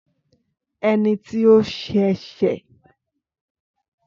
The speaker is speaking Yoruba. Ẹni tí ó ṣẹ̀ṣẹ̀